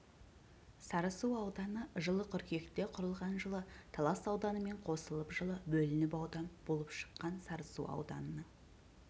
сарысу ауданы жылы қыркүйекте құрылған жылы талас ауданымен қосылып жылы бөлініп аудан болып шықты сарысу ауданының